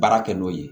Baara kɛ n'o ye